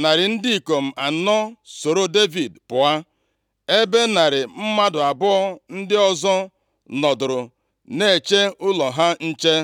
narị ndị ikom anọ sooro Devid pụọ, ebe narị mmadụ abụọ ndị ọzọ nọdụrụ na-eche ụlọ ha nche.